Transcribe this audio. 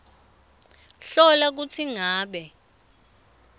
hlola kutsi ngabe